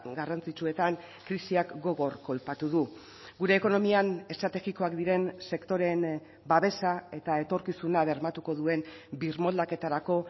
garrantzitsuetan krisiak gogor kolpatu du gure ekonomian estrategikoak diren sektoreen babesa eta etorkizuna bermatuko duen birmoldaketarako